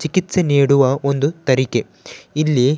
ಚಿಕಿತ್ಸೆ ನೀಡುವ ಒಂದು ತರೀಕೆ ಇಲ್ಲಿ--